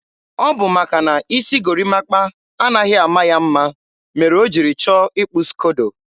ọ bụ maka na isi gorimapa anaghị ama ya mma mere o jiri chọọ ịkpụ skodo.